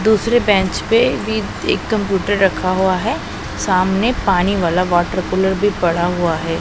दूसरे बेंच पे भी एक कंप्यूटर रखा हुआ हैं सामने पानी वाला वाटर कूलर भी पड़ा हुआ हैं।